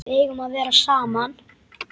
Við eigum að vera saman.